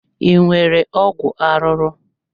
Ị nwere ọgwụ arụrụ?